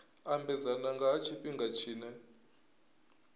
ambedzana nga ha tshifhinga tshine